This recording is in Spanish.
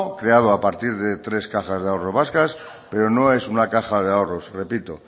creado a partir de tres cajas de ahorro vascas pero no es una caja de ahorros repito